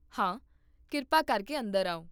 ਹਾਂ, ਕਿਰਪਾ ਕਰਕੇ ਅੰਦਰ ਆਓ